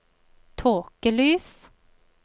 tåkelys